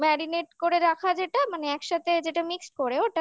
marinate করে রাখা যেটা মানে একসাথে যেটা mixed